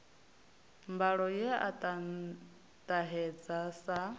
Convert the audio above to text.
mbalo ye a ṱahedza sa